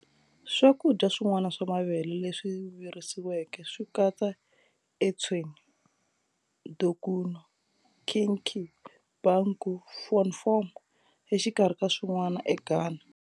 Swakudya swin'wana swa mavele leswi virisiweke swikatsa"etsew","dokuno", "kenkey","banku","fonfom", exikarhi ka swin'wana eGhana.